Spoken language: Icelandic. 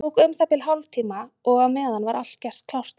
Það tók um það bil hálftíma og á meðan var allt gert klárt á dekki.